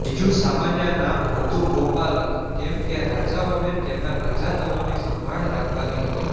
બીજુ સામાન્ય નામ હતું ગોપાલક કેમ કે રાજાઓને તેમના પ્રજાજનોની સંભાળ રાખવાની હતી